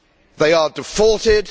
They have defaulted.